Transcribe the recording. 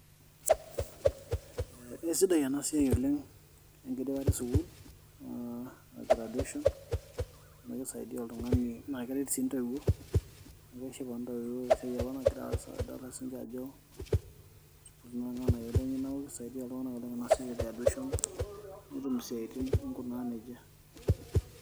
Esidai ena siai oleng enkidipata e sukuul aa graduation amu kisaidia oltung'ani naa keret sii intoiwuo amu keshipa intoiwuo tesiai apa nagira aas edolita siinche ajo etupukutuo naa irng'anayio lenye neeku kisaidia iltung'anak oleng ina siai e graduation nitum isiaitin ninkunaa nejia.